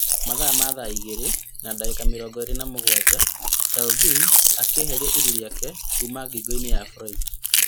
Mathaa ma thaa igĩrĩ na ndagĩka mĩrongo ĩrĩ na mũgwanja, Chauvin akĩeheria iru riake kuma ngingo-inĩ ya Floyd